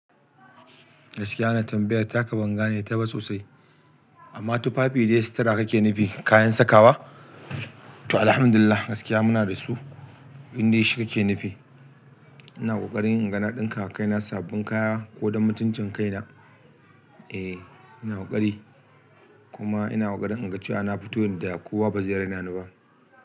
Gaskiya na tambayar taka banga ne ta ba sosai. Amma tufafi dai situra kake nufi kayan sakawa? To Alhamdulillah gaskiya muna da su, indai shi kake nufi. Ina ƙoƙarin inga na ɗin ka wa kaina sabbin kaya ko don mutuncin kaina. Eh ina ƙoƙari kuma ina ƙoƙari in ga cewa na fito yanda kowa ba zai raina ni ba.